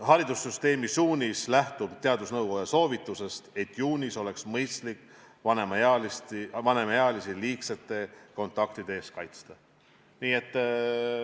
Haridusministeeriumi suunis lähtub teadusnõukoja soovitusest, et juunis oleks mõistlik vanemaealisi liigsete kontaktide eest kaitsta.